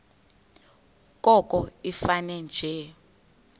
koko ifane nje